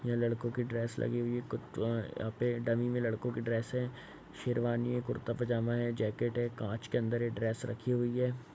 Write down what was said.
ये लड़कों की ड्रेस लगी हुई है। कु ट यहाँ पे डमी में लड़को कि ड्रेस है। शेरवानी है कुर्ता पजामा है जैकेट है कांच के अंदर ये ड्रेस रखी हुई है।